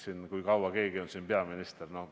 Seda, kui kaua keegi on peaminister?